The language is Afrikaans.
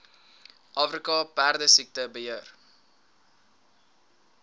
afrika perdesiekte beheer